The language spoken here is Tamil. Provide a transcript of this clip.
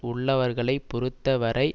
உள்ளவர்களை பொறுத்தவரை